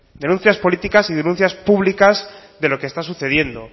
denuncias políticas y denuncias públicas de lo que está sucediendo